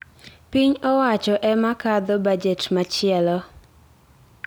Piny owacho ema kadho bajet machielo.